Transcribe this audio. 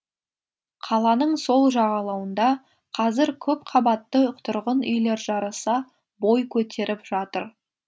қаланың сол жағалауында қазір көпқабатты тұрғын үйлер жарыса бой көтеріп жатыр